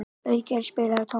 Auðgeir, spilaðu tónlist.